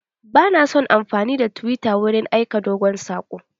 Ba na son amfani da tiwita wurin aika dogon saƙo.